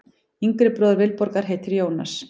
Yngri bróðir Vilborgar heitir Jónas.